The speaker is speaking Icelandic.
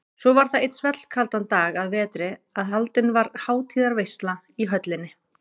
Svo var það einn svellkaldan dag að vetri að haldin var hátíðarveisla í höllinni.